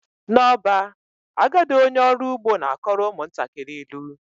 N'ọba, agadi onye ọrụ ugbo na-akọrọ ụmụntakịrị ilu